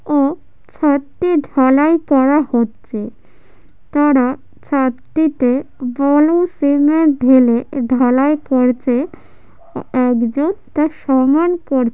ও ছাদটি ঢালাই করা হচ্ছে তারা ছাদটিতে বালু সিমেন্ট ঢেলে ঢালাই করছে একজন তা সমান কর--